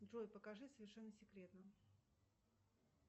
джой покажи совершенно секретно